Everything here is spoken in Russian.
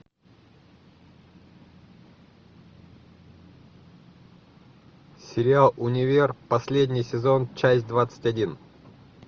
сериал универ последний сезон часть двадцать один